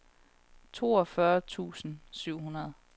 toogfyrre tusind syv hundrede